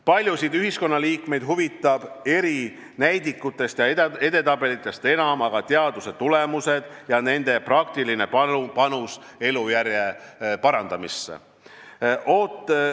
Paljusid ühiskonnaliikmeid huvitavad eri näidikutest ja edetabelitest enam aga teadustöö tulemused ja nende praktiline panus elujärje parandamisse.